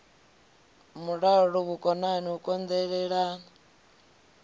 mulalo vhukonani u kon elelana